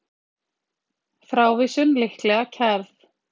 Frávísun líklega kærð